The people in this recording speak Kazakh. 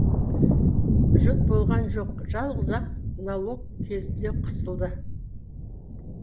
жұт болған жоқ жалғыз ақ налог кезінде қысылды